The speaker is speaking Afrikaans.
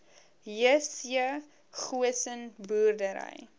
jc goosen boerdery